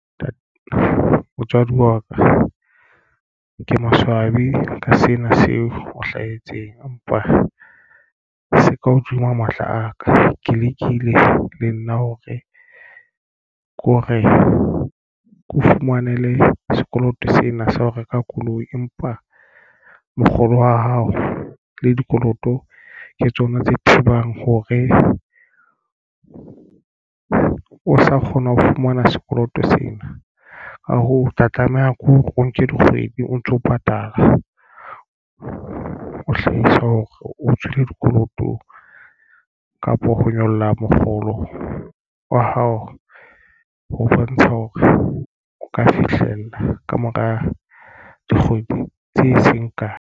Motswadi wa ka ke maswabi ka sena seo o hlahetseng empa se ka hodima matla a ka. Ke lekile le nna hore ke o fumanele sekoloto sena sa ho reka koloi, empa mokgolo wa hao le dikoloto ke tsona tse thibang hore o sa kgona ho fumana sekoloto sena. Ka hoo o tla tlameha ke hore o nke dikgwedi o ntso patala o hlahisa hore o tswile dikolotong kapo ho nyolla mokgolo wa hao o bontsha hore o ka fihlella kamora dikgwedi tse seng kae.